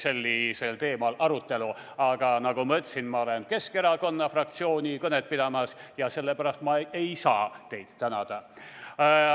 Aga nagu ma ütlesin, olen ma kõnet pidamas Keskerakonna fraktsiooni esindajana ja sellepärast ei saa ma teid tänada.